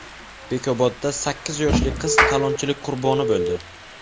Bekobodda sakkiz yoshli qiz talonchilik qurboni bo‘ldi.